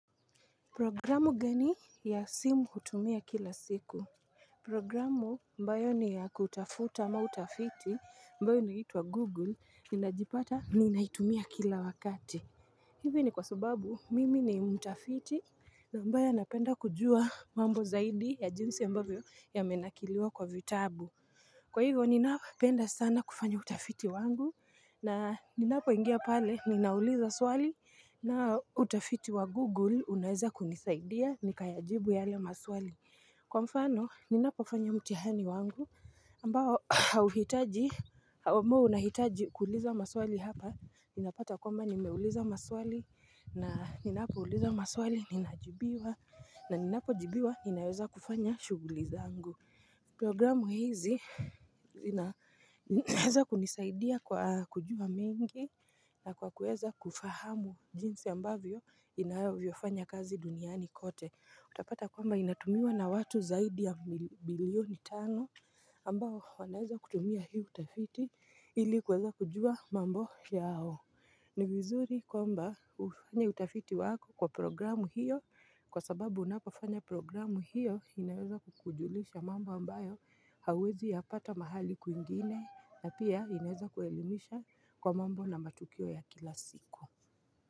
Programu gani ya simu hutumia kila siku? Programu ambayo ni ya kutafuta ama utafiti ambayo inaitwa Google ninajipata niinaitumia kila wakati. Hivi ni kwa sababu mimi ni mtafiti ambaye anapenda kujua mambo zaidi ya jinsi ambavyo yamenakiliwa kwa vitabu. Kwa hivyo ninapenda sana kufanya utafiti wangu na ninapoingia pale ninauliza swali na utafiti wa Google unaweza kunisaidia nikayajibu yale maswali. Kwa mfano ninapofanya mtihani wangu ambao hauhitaji, amabo unahitaji kuuliza maswali hapa, ninapata kwamba nimeuliza maswali na ninapouliza maswali ninajibiwa na ninapojibiwa ninaweza kufanya shughuli zangu. Programu hizi inaweza kunisaidia kwa kujua mengi na kwa kuweza kufahamu jinsi ambavyo inavyofanya kazi duniani kote. Utapata kwamba inatumiwa na watu zaidi ya bilioni tano ambao wanaweza kutumia hii utafiti ili kuweza kujua mambo yao ni vizuri kwamba kufanya utafiti wako kwa programu hiyo kwa sababu unapofanya programu hiyo inaweza kukujulisha mambo ambayo hauwezi yapata mahali kwingine na pia inaweza kuelimisha kwa mambo na matukio ya kila siku.